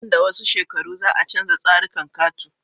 Nan da wasu shekaru za a canja tsarikan katu